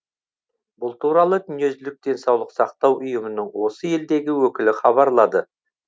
бұл туралы дүниежүзілік денсаулық сақтау ұйымының осы елдегі өкілі хабарлады